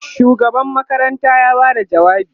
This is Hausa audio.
shugaban makaranta ya Bada jawabi